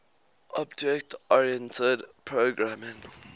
object oriented programming